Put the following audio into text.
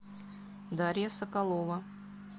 дарья соколова